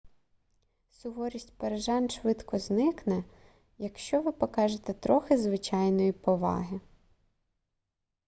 суворість парижан швидко зникне якщо ви покажете трохи звичайної поваги